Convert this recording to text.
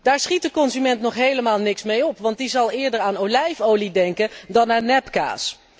Daar schiet de consument nog helemaal niks mee op, want die zal eerder aan olijfolie denken dan aan nepkaas.